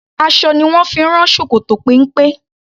Aṣọ ni wón fi ń rán ṣòkòtò péńpé.